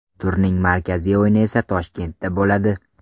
Turning markaziy o‘yini esa Toshkentda bo‘ladi.